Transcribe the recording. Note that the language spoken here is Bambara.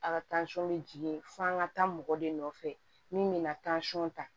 A ka bɛ jigin f'an ka taa mɔgɔ de nɔfɛ min bɛna ta